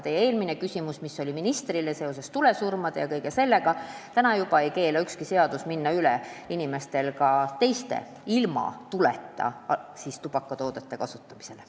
Teie küsimus ministrile oli seotud tulesurmadega, aga juba praegu ei keela ükski seadus inimestel üle minna ilma tuleta kasutatavatele tubakatoodetele.